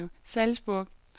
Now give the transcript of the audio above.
Salzburg